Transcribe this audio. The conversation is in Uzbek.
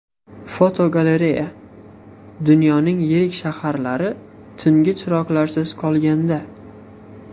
Fotogalereya: Dunyoning yirik shaharlari tungi chiroqlarsiz qolganda.